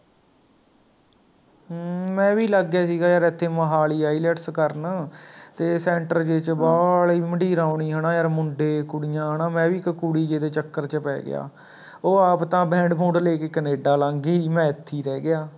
ਹਮਮ ਮੈਂ ਵੀ ਲੱਗ ਗਿਆ ਸੀਗਾ ਯਾਰ ਏਥੇ ਮੋਹਾਲੀ IELTS ਕਰਨ ਤੇ center ਜਿਹੇ ਚ ਵਾਹਲੀ ਮੰਡੀਰ ਆਉਣੀ ਹੈ ਨਾ ਯਾਰ ਮੁੰਡੇ ਕੁੜੀਆਂ ਹੈ ਨਾ ਮੈਂ ਵੀ ਇੱਕ ਕੁੜੀ ਜਿਹੇ ਦੇ ਚੱਕਰ ਚ ਪੈ ਗਿਆ ਓਹ ਆਪ ਤਾਂ Band ਬੂੰਡ ਲੈ ਕੇ canada ਲੰਘ ਗਈ ਸੀ ਮੈਂ ਇੱਥੇ ਹੀ ਰਹਿ ਗਿਆ